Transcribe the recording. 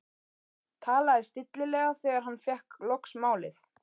Talaði stillilega þegar hann fékk loks málið.